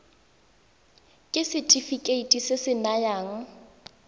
ke setefikeiti se se nayang